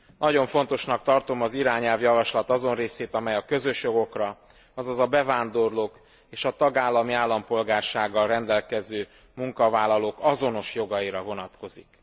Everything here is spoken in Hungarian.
Nagyon fontosnak tartom az irányelv azon részét, amely a közös jogokra, azaz a bevándorlók és a tagállami állampolgársággal rendelkező munkavállalók azonos jogaira vonatkozik.